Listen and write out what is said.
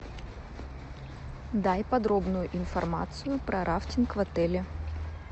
дай подробную информацию про рафтинг в отеле